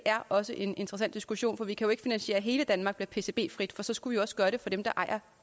også en interessant diskussion for vi kan jo ikke finansiere at hele danmark bliver pcb frit for så skulle vi også gøre det for dem der ejer